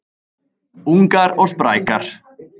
Ungar og sprækar